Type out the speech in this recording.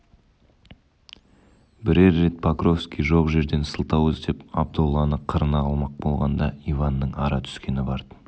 бірер рет покровский жоқ жерден сылтау іздеп абдолланы қырына алмақ болғанда иванның ара түскені бартын